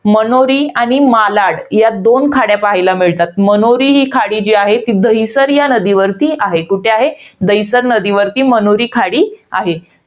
मनोरी आणि मालाड या दोन खाड्या पाहायला मिळतात. मनोरी ही खाडी जी आहे. ती दहिसर नदीवर या नदीवरती आहे. कुठे आहे? दहिसर नदीवर मनोरी खाडी आहे.